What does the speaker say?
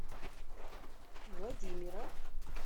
владимира